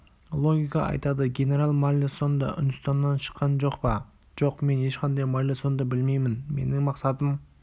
логика айтады генерал маллесон да үндістаннан шыққан жоқ па жоқ мен ешқандай маллесонды білмеймін менің мақсатым